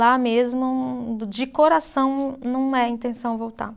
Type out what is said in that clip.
Lá mesmo, de coração, não é a intenção voltar.